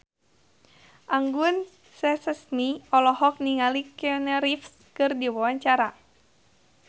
Anggun C. Sasmi olohok ningali Keanu Reeves keur diwawancara